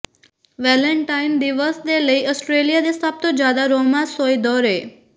Valentine ਦਿਵਸ ਦੇ ਲਈ ਆਸਟ੍ਰੇਲੀਆ ਦੇ ਸਭ ਤੋਂ ਜ਼ਿਆਦਾ ਰੋਮਾਂਸੋਈ ਦੌਰੇ